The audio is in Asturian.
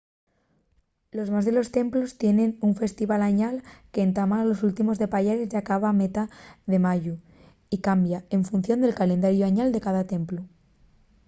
los más de los templos tienen un festival añal qu’entama a últimos de payares y acaba a metá de mayu y cambia en función del calendariu añal de cada templu